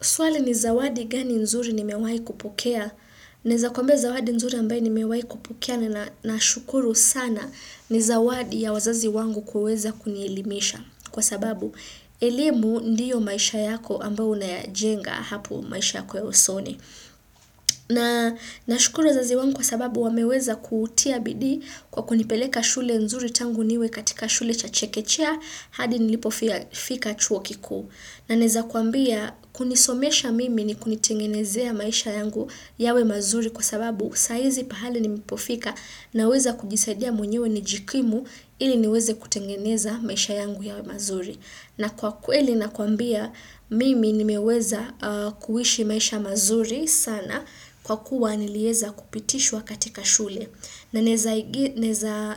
Swale ni zawadi gani nzuri ni mewai kupokea. Naeza kuambia zawadi nzuri ambaye ni mewai kupokea na na shukuru sana ni zawadi ya wazazi wangu kuweza kunielimisha. Kwa sababu elimu ndio maisha yako ambao unayajenga hapo maisha yako ya usoni. Na nashukuru wazazi wangu kwa sababu wameweza kutia bidii kwa kunipeleka shule nzuri tangu niwe katika shule cha chekechea hadi nilipofika chuo kikuu. Na naeza kuambia kunisomesha mimi ni kunitengenezea maisha yangu yawe mazuri kwa sababu saizi pahali ni mepofika na weza kujisadia mwenyewe ni jikimu ili niweze kutengeneza maisha yangu yawe mazuri. Na kwa kweli nakuambia mimi nimeweza kuishi maisha mazuri sana kwa kuwa nilieza kupitishwa katika shule. Na naeza